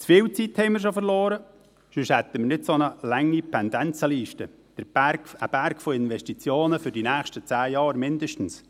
Wir haben schon zu viel Zeit verloren, denn sonst hätten wir nicht eine so lange Pendenzenliste: ein Berg an Investitionen für die nächsten zehn Jahre mindestens.